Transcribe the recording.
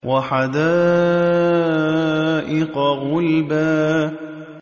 وَحَدَائِقَ غُلْبًا